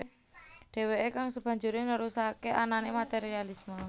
Deweke kang sebanjure nerusake anane materialisme